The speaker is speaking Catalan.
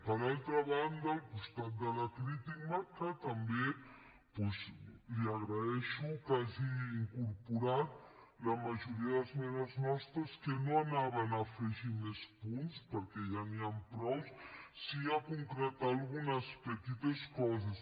per altra banda al costat de la crítica també doncs li agraeixo que hagi incorporat la majoria d’esmenes nostres que no anaven a afegir més punts perquè ja n’hi han prou sí a concretar algunes petites coses